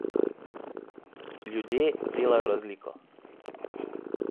Ljudje delajo razliko.